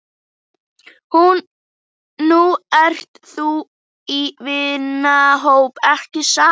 Nú ert þú í vinahóp, ekki satt?